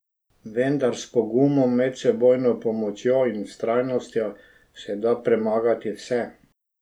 Vendar s pogumom, medsebojno pomočjo in vztrajnostjo, se da premagati vse.